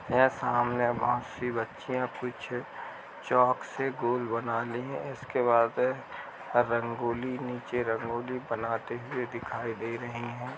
य सामने बहोत सी बच्चियां कुछ चॉक से गोल बना ली हैं। इसके बाद रंगोली नीचे रंगोली बनाते हुए दिखाई दे रहीं हैं।